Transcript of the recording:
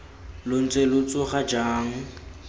lo ntse lo tsoga jang